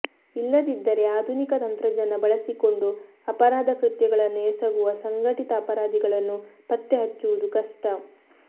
ಇಲ್ಲದಿದ್ದರೆ ಆಧುನಿಕ ತಂತ್ರಜ್ಞಾನ ಬಳಸಿಕೊಂಡು ಅಪರಾಧ ಕೃತ್ಯಗಳನ್ನು ಎಸಗುವ ಸಂಘಟಿತ ಅಪರಾಧಿಗಳನ್ನು ಪತ್ತೆ ಹಚ್ಚುವುದು ಕಷ್ಟ